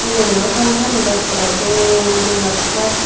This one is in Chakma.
mileguno sari gani dow ekkore dol dol ekkore.